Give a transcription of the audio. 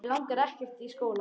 Mig langar ekkert í skóla.